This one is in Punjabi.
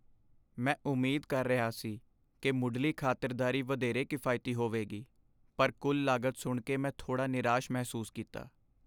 ਮੈਂ ਉਮੀਦ ਕਰ ਰਿਹਾ ਸੀ ਕਿ ਮੁੱਢਲੀ ਖ਼ਾਤਰਦਾਰੀ ਵਧੇਰੇ ਕਿਫਾਇਤੀ ਹੋਵੇਗੀ, ਪਰ ਕੁੱਲ ਲਾਗਤ ਸੁਣ ਕੇ ਮੈਂ ਥੋੜ੍ਹਾ ਨਿਰਾਸ਼ ਮਹਿਸੂਸ ਕੀਤਾ।